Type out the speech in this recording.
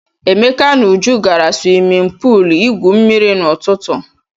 Emeka na Uju gara swimin puul igwu mmiri n'ụtụtụ.